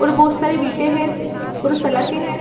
और बहुत सारी है और सालके है।